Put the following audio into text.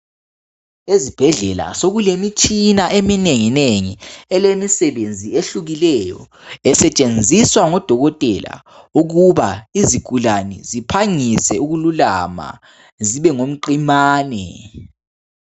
Ezibhedlela sokulemitshina eminengi nengi elemisebenzi ehlukileyo esetshenziswa ngodokotela ukuba izigulane ziphangise ukululama zibe ngumqimane.